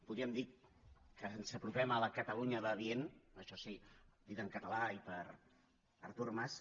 podríem dir que ens apropem a la cataluña va bien això sí dit en català i per artur mas